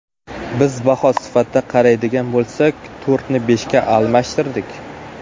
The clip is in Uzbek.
Biz baho sifatida qaraydigan bo‘lsak, to‘rtni beshga almashtirdik.